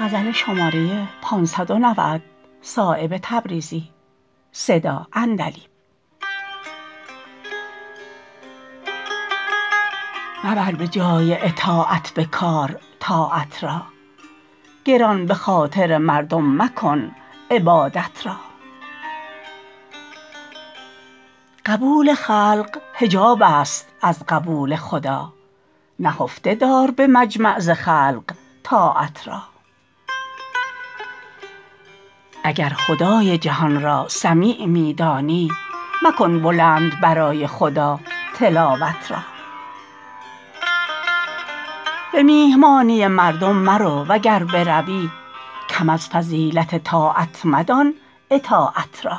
مبر به جای اطاعت به کار طاعت را گران به خاطر مردم مکن عبادت را قبول خلق حجاب است از قبول خدا نهفته دار به مجمع ز خلق طاعت را اگر خدای جهان را سمیع می دانی مکن بلند برای خدا تلاوت را به میهمانی مردم مرو وگر بروی کم از فضیلت طاعت مدان اطاعت را